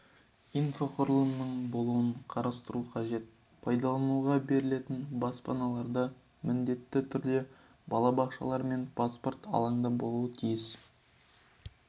инфрақұрылымның болуын қарастыру қажет пайдалануға берілетін баспаналарда міндетті түрде балабақшалар мен спорт алаңдары болуы тиіс